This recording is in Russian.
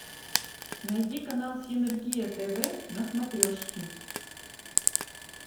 найди канал синергия тв на смотрешке